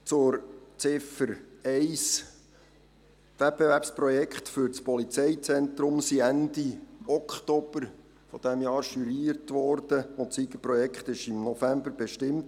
Zu Ziffer 1: Die Wettbewerbsprojekte für das Polizeizentrum wurden Ende Oktober 2018 juriert, und das Siegerprojekt wurde im November bestimmt.